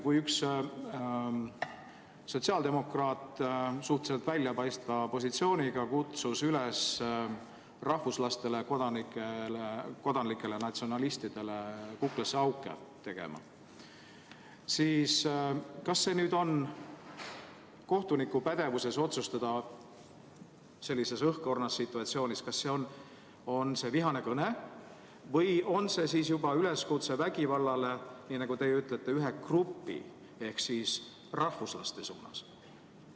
Kui üks sotsiaaldemokraat, suhteliselt silmapaistval positsioonil, kutsus üles rahvuslastele, kodanikele natsionalistidele kuklasse auke tegema, siis kas on kohtuniku pädevuses sellises õhkõrnas situatsioonis otsustada, kas tegemist on vihase kõnega või juba üleskutsega vägivallale, nagu teie ütlete, ühe grupi ehk rahvuslaste suunas?